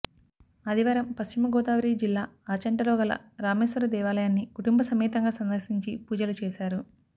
ఆదివారం పశ్చిమ గోదావరి జిల్లా ఆచంటలో గల రామేశ్వర దేవాలయాన్ని కుటుంబ సమేతంగా సందర్శించి పూజలు చేశారు